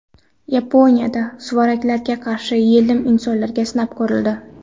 Yaponiyada suvaraklarga qarshi yelim insonlarda sinab ko‘rildi .